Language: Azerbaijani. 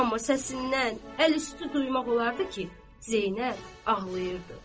Amma səsindən əlüstü duymaq olardı ki, Zeynəb ağlayırdı.